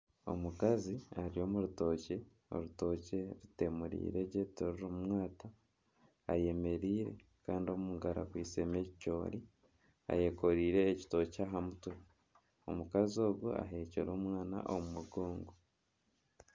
Omukazi ari omu rutookye, Kandi orutookye rutemuriiregye tirurimu mwata ,ayemereire Kandi omungaro akwaitsemu ekicoori ayekoreire ekitookye aha mutwe ,omukazi ogu aheekire omwana omu mugongo